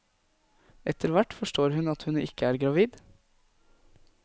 Etterhvert forstår hun at hun ikke er gravid.